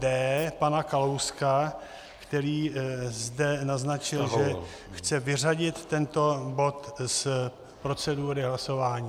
D, pana Kalouska, který zde naznačil, že chce vyřadit tento bod z procedury hlasování.